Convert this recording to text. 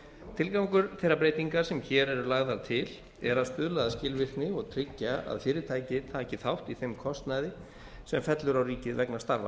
tilgangur þeirra breytinga sem hér eru lagðar til er að stuðla að skilvirkni og tryggja að fyrirtæki taki þátt í þeim kostnaði sem fellur á ríkið vegna starfa